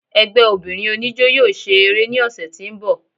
Ẹgbẹ́ obìnrin oníjọ́ yóò ṣe eré ní ọsẹ̀ tí ń bọ̀.